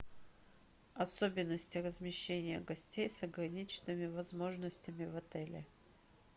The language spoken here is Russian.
особенности размещения гостей с ограниченными возможностями в отеле